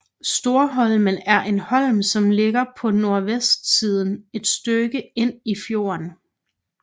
Storholmen er en holm som ligger på nordvestsiden et stykke ind i fjorden